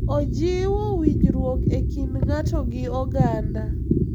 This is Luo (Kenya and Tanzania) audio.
Ojiwo winjruok e kind ng'ato gi oganda.